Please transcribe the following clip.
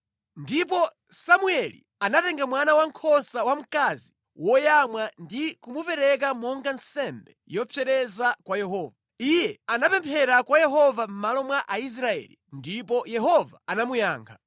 Ndipo Samueli anatenga mwana wankhosa wamkazi woyamwa ndi kumupereka monga nsembe yopsereza kwa Yehova. Iye anapemphera kwa Yehova mʼmalo mwa Aisraeli, ndipo Yehova anamuyankha.